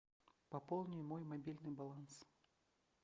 пополни мой мобильный баланс